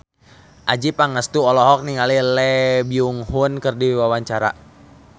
Adjie Pangestu olohok ningali Lee Byung Hun keur diwawancara